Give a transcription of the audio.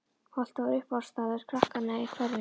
Holtið var uppáhaldsstaður krakkanna í hverfinu.